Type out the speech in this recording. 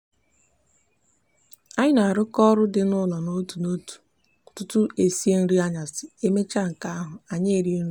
anyi n'aruko oru di n'ulo n'otu n'otu tutu esie nri anyasi emecha nka ahu anyi erie nri anyasi